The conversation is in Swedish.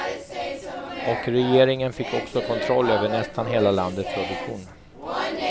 Och regeringen fick också kontroll över nästan hela landets produktion.